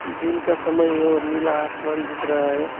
दिन का समय और नीला आसमान दिख रहा है।